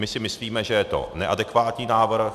My si myslíme, že je to neadekvátní návrh.